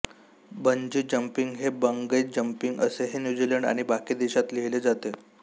bungee jumping हे bungee jumping असेही New Zealand आणि बाकी देशात लिहिले जाते